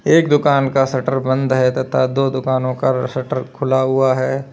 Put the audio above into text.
एक दुकान का सटर बंद है तथा दो दुकानों का शटर खुला हुआ है।